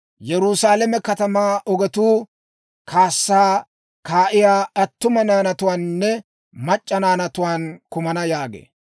Yerusaalame katamaa ogetuu kaassaa kaa'iyaa attuma naanatuwaaninne mac'c'a naanatuwaan kumana› yaagee.